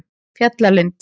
Fjallalind